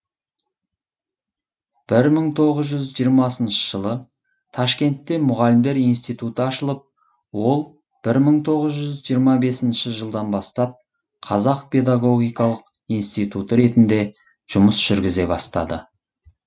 бір мың тоғыз жүз жиырмасыншы жылы ташкентте мұғалімдер институты ашылып ол бір мың тоғыз жүз жиырма бесінші жылдан бастап қазақ педагогикалық институты ретінде жұмыс жүргізе бастады